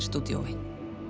stúdíói